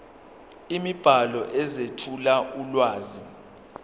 imibhalo ezethula ulwazi